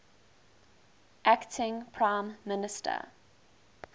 acting prime minister